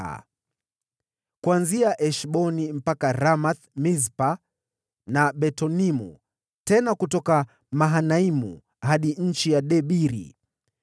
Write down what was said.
na kuanzia Heshboni mpaka Ramath-Mispa na Betonimu, na kutoka Mahanaimu hadi eneo la Debiri;